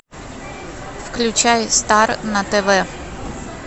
включай стар на тв